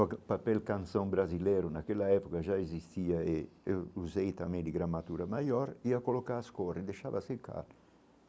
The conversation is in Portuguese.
O papel canção brasileiro naquela época já existia e eu usei também de gramatura maior e ia colocar as cores e deixava secar.